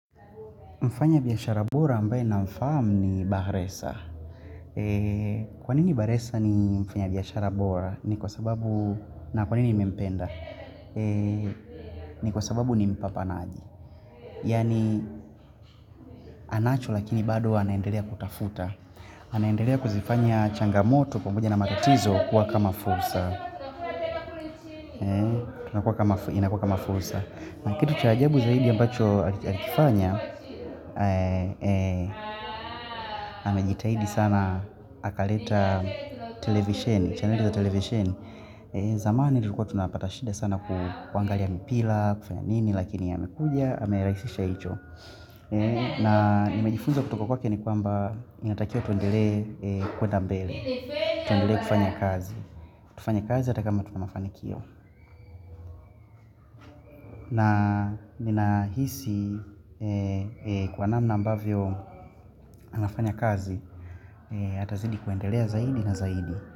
Mfanyabiashara bora ambaye namfahamu ni Bahresa. Kwanini bahresa ni mfanyabiashara bora? Ni kwa sababu na kwanini mempenda? Ni kwa sababu ni mpapanaji. Yaani anacho, lakini bado anaendelea kutafuta. Anaendelea kuzifanya changamoto pamoja na matatizo kuwa kama fursa. Inakuwa kama fursa. Na kitu cha ajabu zaidi ambacho alikifanya, Amejitahidi sana, akaleta chaneli za televisheni. Zamani tulikuwa tunapata shida sana kuangalia mipira, kufanya nini lakini amekuja na amerahisisha hilo. Na nimejifunza kutoka kwake ni kwamba inatakiwa tuendelee kwenda mbele, tuendelee kufanya kazi. Tufanya kazi ata kama tumefanikiwa na ninahisi kwa namna ambavyo anafanya kazi Atazidi kuendelea zaidi na zaidi.